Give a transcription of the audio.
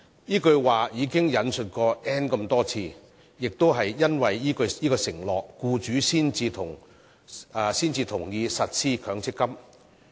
這句說話已被多次引述，亦因為這個承諾，僱主才同意實施強積金計劃。